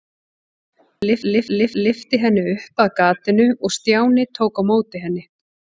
Vala lyfti henni upp að gatinu og Stjáni tók á móti henni.